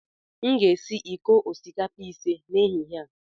Aga m esi iko osikapa ise n'ehihie a